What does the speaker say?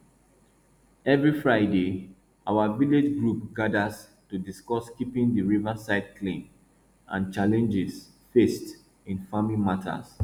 every friday our village group gathers to discuss keeping the riverside clean and challenges faced in farming matters